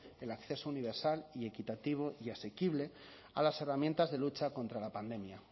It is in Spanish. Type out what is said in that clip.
el acceso universal y equitativo y asequible a las herramientas de lucha contra la pandemia